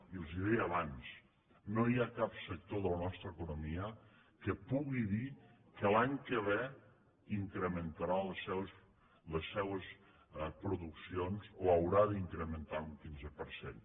i els ho deia abans no hi ha cap sector de la nostra economia que pugui dir que l’any que ve incrementarà les seues produccions o haurà d’incrementar un quinze per cent